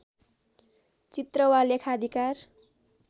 चित्र वा लेखाधिकार